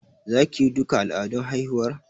Za ki yi duka al'adun haihuwar?